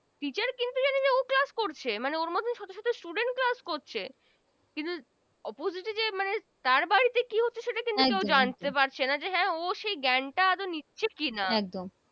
Teacher কিন্তু জানি যে ও Class করছে মানে ওর মতো শত শত students class করছে কিন্তু opjite যে মানে তার বাড়িতে কি হচ্ছে সেটা কেও জানে পারছে না হ্যা ও সে জ্ঞানতা আদোও নিচ্ছে কি না